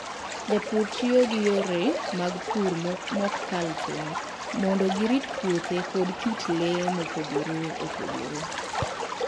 Jopur tiyo gi yore mag pur ma ok kal tong' mondo girit puothe koda kit le mopogore opogore.